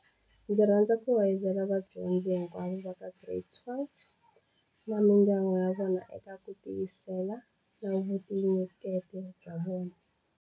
Ndzi rhandza ku hoyozela vadyondzi hinkwavo va ka Giredi 12 na mindyangu ya vona eka ku tiyisela na vutinyeketi bya vona.